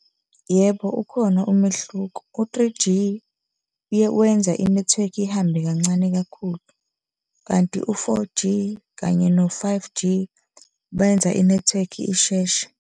Yebo, ukhona umehluko. U-three G uye wenze i-network ihambe kancane kakhulu, kanti u-four G kanye no-five G benza i-network isheshe.